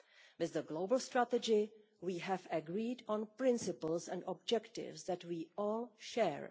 With the global strategy, we have agreed on principles and objectives that we all share.